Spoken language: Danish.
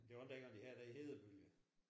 Det var ikke dengang de havde det hedebølge?